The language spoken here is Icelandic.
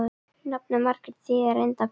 Nafnið Margrét þýðir reyndar perla.